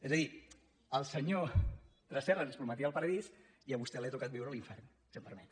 és a dir el senyor tresserras ens prometia el paradís i a vostè li ha tocat viure l’infern si em permet